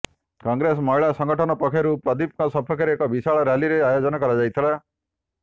କଂଗ୍ରେସ ମହିଳା ସଂଗଠନ ପକ୍ଷରୁ ପ୍ରଦୀପଙ୍କ ସପକ୍ଷରେ ଏକ ବିଶାଳ ରାଲ୍ଲୀର ଆୟୋଜନ କରାଯାଇଥିଲା